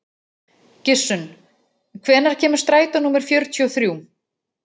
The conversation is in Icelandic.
Gissunn, hvenær kemur strætó númer fjörutíu og þrjú?